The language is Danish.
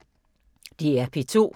DR P2